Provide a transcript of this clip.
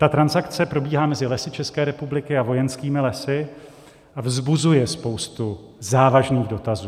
Ta transakce probíhá mezi Lesy České republiky a Vojenskými lesy a vzbuzuje spoustu závažných dotazů.